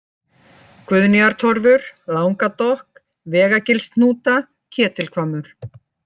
Guðnýjartorfur, Langadokk, Vegagilshnúta, Ketilhvammur